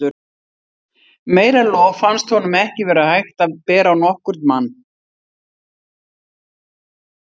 Meira lof fannst honum ekki vera hægt að bera á nokkurn mann.